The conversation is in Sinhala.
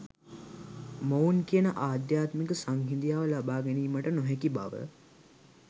මොවුන් කියන ආධ්‍යාත්මික සංහිදියාව ලබා ගැනීමට නොහැකි බව